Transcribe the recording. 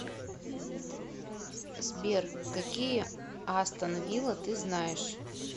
сбер какие астон вилла ты знаешь